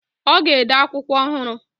Ọ ga-ede akwụkwọ ọhụrụ.